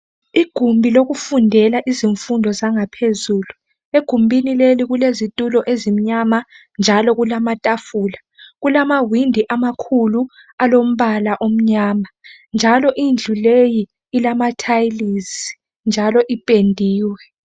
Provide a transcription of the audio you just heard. Igumbi lokufundela izifundo zangaphezulu egumbuni leli kulezitulo ezimnyama njalo kulamatafula kulamawindi amakhulu alombala omnyama njalo indlu leyi ilama tiles njalo ipendiwe.